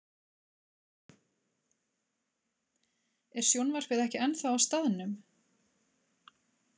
Er sjónvarpið ekki ennþá á staðnum?